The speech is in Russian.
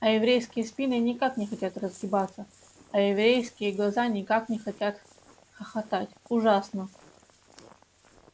а еврейские спины никак не хотят разгибаться а еврейские глаза никак не хотят хохотать ужасно